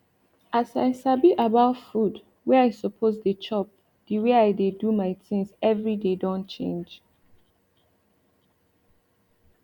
as i sabi about food wey i suppose dey chop the way i dey do my things every day don change